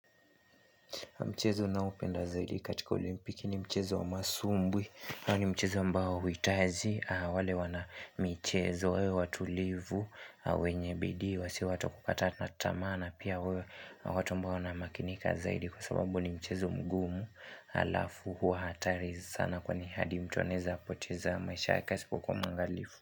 Mchezo ninaoupenda zaidi katika olimpiki ni mchezo wa masumbwi. Huu ni mchezo ambao huhitaji, wale wanamichezo, wawe watulivu, wenye bidi, wasiwe watu wa kukata tamaa na. Pia wawe watu ambao wanamakinika zaidi kwa sababu ni mchezo mgumu, alafu hua hatari sana kwani hadi mtu anaweza kupoteza maisha yake asipokuwa mwangalifu.